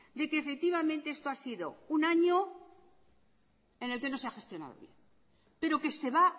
de que efectivamente esto ha sido un año en el que no se ha gestionado bien pero que se va